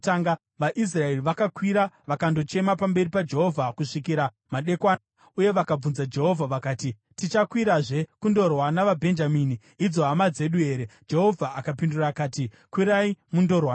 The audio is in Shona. VaIsraeri vakakwira vakandochema pamberi paJehovha kusvikira madekwana, uye vakabvunza Jehovha. Vakati, “Tichakwirazve kundorwa navaBhenjamini, idzo hama dzedu here?” Jehovha akapindura akati, “Kwirai mundorwa navo.”